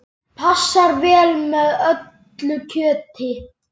Passar vel með öllu kjöti.